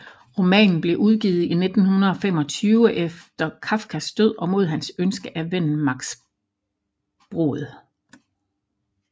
Romanen blev udgivet i 1925 efter Kafkas død og mod hans ønske af vennen Max Brod